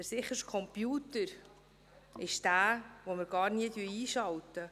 Der sicherste Computer ist der, den wir gar nie einschalten.